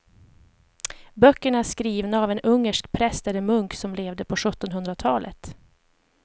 Böckerna är skrivna av en ungersk präst eller munk som levde på sjuttonhundratalet.